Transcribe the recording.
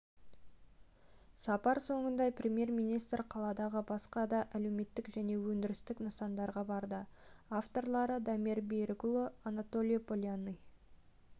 сапар соңында премьер-министр қаладағы басқа да әлеуметтік және өндірістік нысандарға барды авторлары дамир берікұлы анатолий полянный